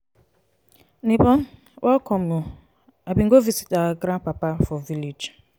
nebor welcome o i bin go visit our grandpapa for him village.